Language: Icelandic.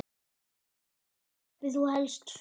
Hvar kaupir þú helst föt?